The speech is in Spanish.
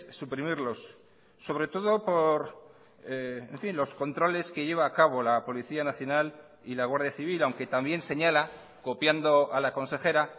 suprimirlos sobre todo por los controles que lleva a cabo la policía nacional y la guardia civil aunque también señala copiando a la consejera